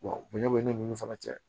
bonya bɛ ne ni fana cɛ